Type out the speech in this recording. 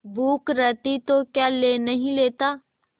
भूख रहती तो क्या ले नहीं लेता